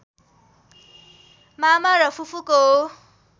मामा र फुपूको